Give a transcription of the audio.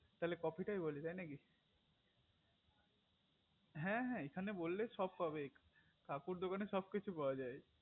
তালে coffe টাই বলি তাই নাকি হ্যা হ্যা এখানে বললে সব পাবে কাকুর দোকানে সব কিছু পাওয়া যায়